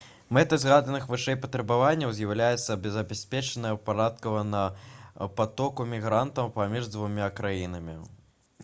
мэтай згаданых вышэй патрабаванняў з'яўляецца забеспячэнне ўпарадкаванага патоку мігрантаў паміж дзвюма краінамі